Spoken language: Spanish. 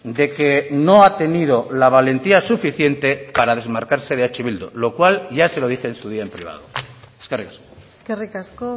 de que no ha tenido la valentía suficiente para desmarcarse de eh bildu lo cual ya se lo dije en su día en privado eskerrik asko eskerrik asko